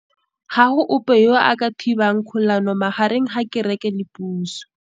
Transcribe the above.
Ga go ope yo a ka thibang kgolanô magareng ga kereke le pusô.